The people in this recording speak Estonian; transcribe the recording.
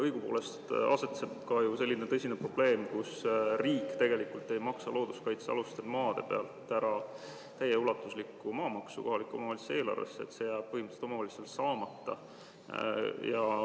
Õigupoolest on ju ka selline tõsine probleem, et riik ei maksa looduskaitsealuste maade pealt ära täieulatuslikku maamaksu kohaliku omavalitsuse eelarvesse ja see jääb omavalitsusel põhimõtteliselt saamata.